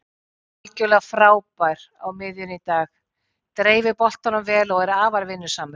Algjörlega frábær á miðjunni í dag, dreifir boltanum vel og er afar vinnusamur